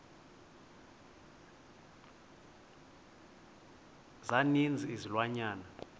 za ninzi izilwanyana